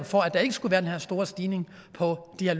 for at der ikke skulle være den her store stigning på de her